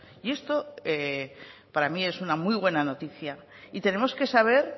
y esto para mi es una muy buena noticia y tenemos que saber